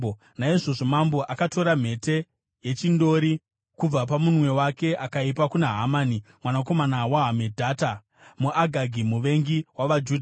Naizvozvo mambo akatora mhete yechindori kubva pamunwe wake akaipa kuna Hamani mwanakomana waHamedhata, muAgagi, muvengi wavaJudha.